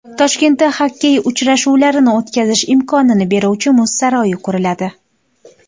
Toshkentda xokkey uchrashuvlarini o‘tkazish imkonini beruvchi muz saroyi quriladi.